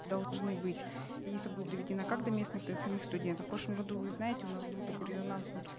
должны быть если будет доведена как до местных так самих студентов в прошлом году вы знаете у нас был такой резонансный